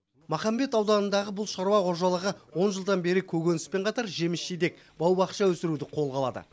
махамбет ауданындағы бұл шаруа қожалығы он жылдан бері көкөніспен қатар жеміс жидек бау бақша өсіруді қолға алады